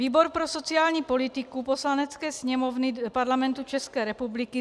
Výbor pro sociální politiku Poslanecké sněmovny Parlamentu České republiky: